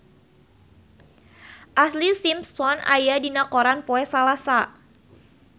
Ashlee Simpson aya dina koran poe Salasa